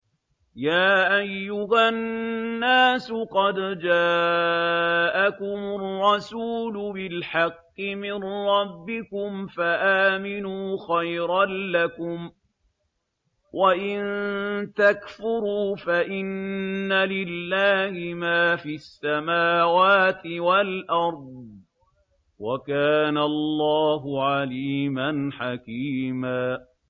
يَا أَيُّهَا النَّاسُ قَدْ جَاءَكُمُ الرَّسُولُ بِالْحَقِّ مِن رَّبِّكُمْ فَآمِنُوا خَيْرًا لَّكُمْ ۚ وَإِن تَكْفُرُوا فَإِنَّ لِلَّهِ مَا فِي السَّمَاوَاتِ وَالْأَرْضِ ۚ وَكَانَ اللَّهُ عَلِيمًا حَكِيمًا